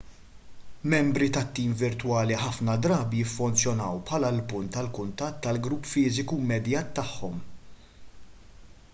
membri tat-tim virtwali ħafna drabi jiffunzjonaw bħala l-punt tal-kuntatt għall-grupp fiżiku immedjat tagħhom